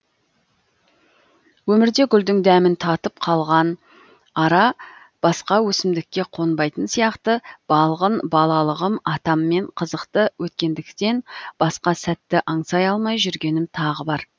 өмірде гүлдің дәмін татып қалған ара басқа өсімдікке қонбайтын сияқты балғын балалығым атаммен қызықты өткендіктен басқа сәтті аңсай алмай жүргенім тағы бар